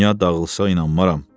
Dünya dağılsa inanmaram.